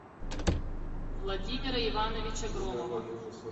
владимира ивановича громова